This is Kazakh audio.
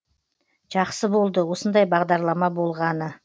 жақсы болды осындай бағдарлама болғаны